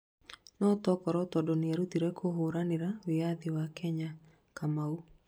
No takorwo tondũ nĩerũtĩire kũhũranĩra wĩathi wa Kenya, Kamau